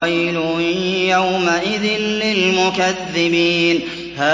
وَيْلٌ يَوْمَئِذٍ لِّلْمُكَذِّبِينَ